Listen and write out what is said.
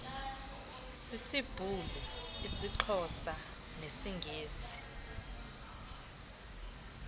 sisibhulu isixhosa nesingesi